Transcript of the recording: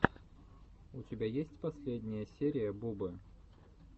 у тебя есть последняя серия бубы